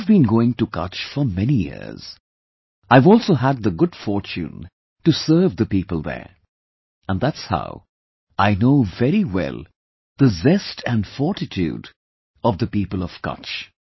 I have been going to Kutch for many years... I have also had the good fortune to serve the people there... and thats how I know very well the zest and fortitude of the people of Kutch